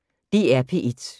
DR P1